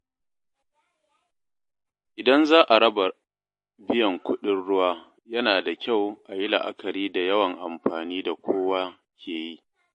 Idan za a raba biyan kuɗin ruwa, yana da kyau a yi la’akari da yawan amfani da kowa ke yi.